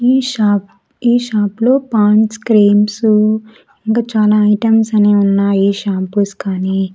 ఈ షాప్ ఈ షాప్ లో పాండ్స్ క్రీమ్స్ ఇంకా చానా ఐటమ్స్ అనేవి ఉన్నాయి షాంపూస్ కానీ.